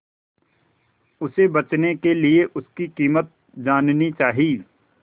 उसे बचने के लिए उसकी कीमत जाननी चाही